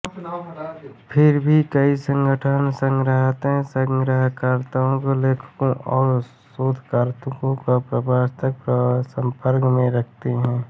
फिर भी कई संगठन स्वतंत्र संग्रहणकर्ताओं लेखकों और शोधकर्ताओं को परस्पर संपर्क में रखते हैं